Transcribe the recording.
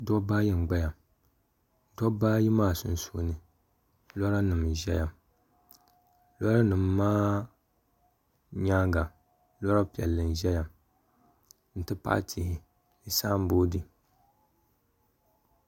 dobba ayi n-gbaya dobba ayi maa sunsuuni lora nima n-ʒeya lora nima maa nyaaga lora piɛlli n-ʒeya nti pahi tihi ni samboodi.